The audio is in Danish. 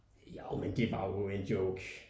Jo men det var jo en joke